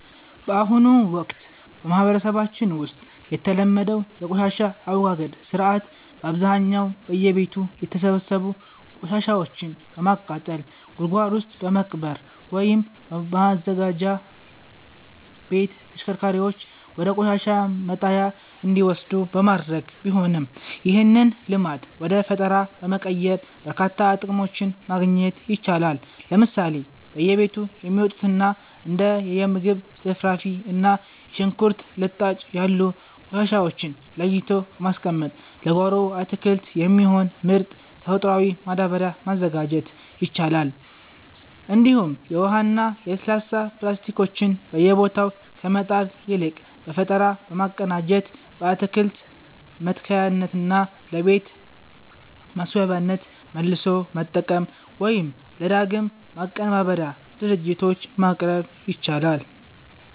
በአሁኑ ወቅት በማህበረሰባችን ውስጥ የተለመደው የቆሻሻ አወጋገድ ሥርዓት በአብዛኛው በየቤቱ የተሰበሰቡ ቆሻሻዎችን በማቃጠል፣ ጉድጓድ ውስጥ በመቅበር ወይም በማዘጋጃ ቤት ተሽከርካሪዎች ወደ ቆሻሻ መጣያ እንዲወሰዱ በማድረግ ቢሆንም፣ ይህንን ልማድ ወደ ፈጠራ በመቀየር በርካታ ጥቅሞችን ማግኘት ይቻላል። ለምሳሌ በየቤቱ የሚወጡትን እንደ የምግብ ትርፍራፊ እና የሽንኩርት ልጣጭ ያሉ ቆሻሻዎችን ለይቶ በማስቀመጥ ለጓሮ አትክልት የሚሆን ምርጥ ተፈጥሯዊ ማዳበሪያ ማዘጋጀት ይቻላል፤ እንዲሁም የውሃና የለስላሳ ፕላስቲኮችን በየቦታው ከመጣል ይልቅ በፈጠራ በማቀናጀት ለአትክልት መትከያነትና ለቤት ማስዋቢያነት መልሶ መጠቀም ወይም ለዳግም ማቀነባበሪያ ድርጅቶች ማቅረብ ይቻላል።